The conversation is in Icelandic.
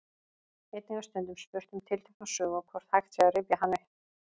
Einnig er stundum spurt um tiltekna sögu og hvort hægt sé að rifja hana upp.